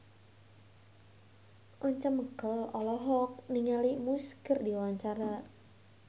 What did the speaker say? Once Mekel olohok ningali Muse keur diwawancara